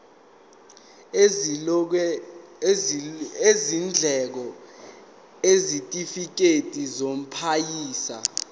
izindleko isitifikedi samaphoyisa